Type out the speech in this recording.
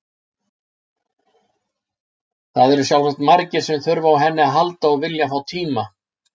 Það eru sjálfsagt margir sem þurfa á henni að halda og vilja fá tíma.